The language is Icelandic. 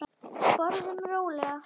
Borðum rólega.